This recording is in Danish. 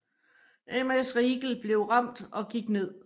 MS Riegel blev ramt og gik ned